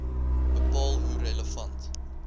bepaal hoe relevant